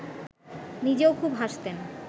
নিজেও খুব হাসতেন